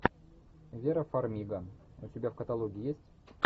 вера фармига у тебя в каталоге есть